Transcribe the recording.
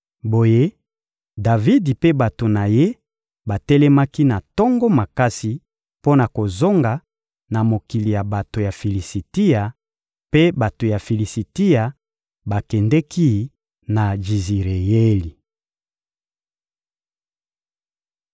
Boye, Davidi mpe bato na ye batelemaki na tongo makasi mpo na kozonga na mokili ya bato ya Filisitia; mpe bato ya Filisitia bakendeki na Jizireyeli.